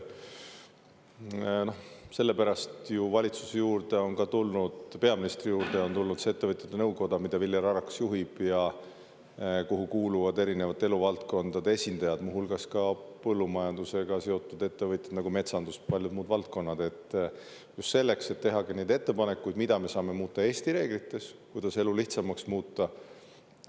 Sellepärast ju valitsuse juurde on ka tulnud, peaministri juurde on tulnud see ettevõtjate nõukoda, mida Viljar Arakas juhib ja kuhu kuuluvad erinevate eluvaldkondade esindajad, muu hulgas ka põllumajandusega seotud ettevõtjad nagu metsandus ja paljud muud valdkonnad – just selleks, et tehagi neid ettepanekuid, mida me saame muuta Eesti reeglites, kuidas elu lihtsamaks muuta.